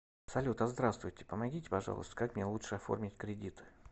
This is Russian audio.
салют а здравствуйте помогите пожалуйста как мне лучше оформить кредит